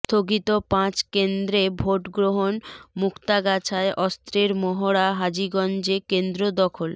স্থগিত পাঁচ কেন্দ্রে ভোট গ্রহণ মুক্তাগাছায় অস্ত্রের মহড়া হাজীগঞ্জে কেন্দ্র দখল